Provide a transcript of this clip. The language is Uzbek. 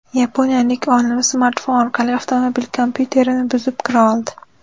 Yaponiyalik olim smartfon orqali avtomobil kompyuterini buzib kira oldi.